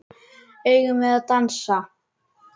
Eigum við að dansa?